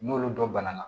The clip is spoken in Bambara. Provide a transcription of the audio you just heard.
N'olu dɔ banana